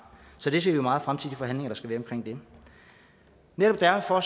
så vi ser meget frem til de forhandlinger der skal være om det netop derfor er